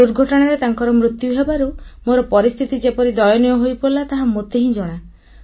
ଦୁର୍ଘଟଣାରେ ତାଙ୍କର ମୃତ୍ୟୁ ହେବାରୁ ମୋର ପରିସ୍ଥିତି ଯେପରି ଦୟନୀୟ ହୋଇପଡ଼ିଲା ତାହା ମୋତେ ହିଁ ଜଣା